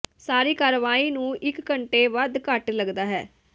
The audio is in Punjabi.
ਸਾਰੀ ਕਾਰਵਾਈ ਨੂੰ ਇਕ ਘੰਟੇ ਵੱਧ ਘੱਟ ਲੱਗਦਾ ਹੈ